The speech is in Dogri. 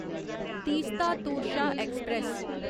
तीस्ता तोरशा ऐक्सप्रैस